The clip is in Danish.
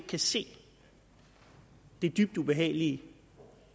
kan se det dybt ubehagelige